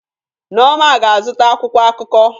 Nneoma ga-azụta akwụkwọ akụkọ.